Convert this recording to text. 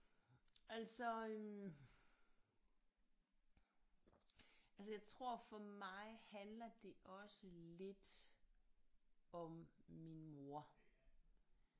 Altså øh altså jeg tror for mig handler det også lidt om min mor